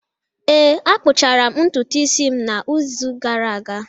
ee, akpụchara m ntutu isi m n’izu gara aga